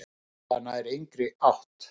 Þetta nær engri átt.